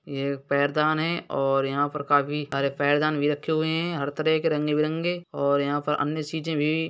ये पैरदान है और यहाँं पर काफी आरे पैरदान भी रखे हुए हैं हर तरह के रंगे-बिरंगे और यहाँं पर अन्य सीजें भी --